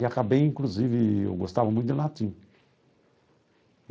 E acabei, inclusive, eu gostava muito de latim.